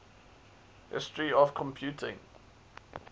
history of computing